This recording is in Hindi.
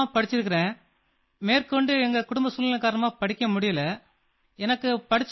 आपको ये पुस्तकालय का जो आईडीईए है ये कैसे आया